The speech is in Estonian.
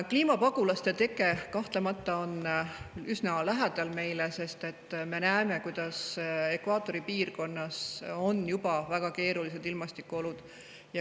Kliimapaguluse on kahtlemata meile üsna lähedal, sest me näeme, kuidas ekvatoriaalses piirkonnas on juba väga keerulised ilmastikuolud.